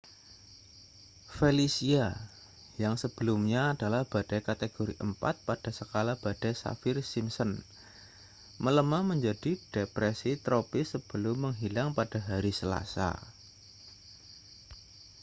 felicia yang sebelumnya adalah badai kategori 4 pada skala badai saffir-simpson melemah menjadi depresi tropis sebelum menghilang pada hari selasa